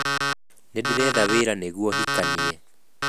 Nĩ ndĩretha wĩra nĩguo hikanie